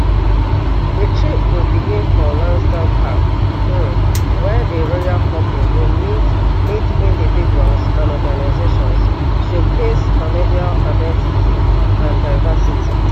di trip go begin for lansdowne park um wia di royal couple go meet meet individuals and organisations showcase canadian identity and diversity